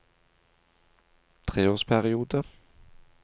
treårsperiode